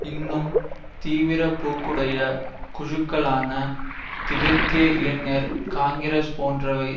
இன்னும் தீவிரப்போக்குடைய குழுக்களான திபெத்திய இளைஞர் காங்கிரஸ் போன்றவை